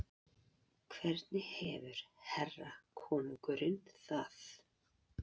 Hvernig hefur herra konungurinn það?